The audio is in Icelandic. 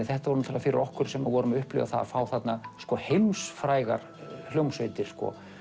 þetta var fyrir okkur sem vorum að upplifa það að fá þarna heimsfrægar hljómsveitir